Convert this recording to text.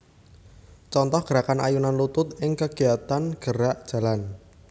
Contoh gerakan ayunan lutut ing kegiatan gerak jalan